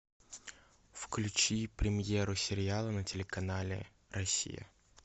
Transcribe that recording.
включи премьеру сериала на телеканале россия